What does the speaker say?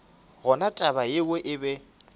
gona taba yeo e be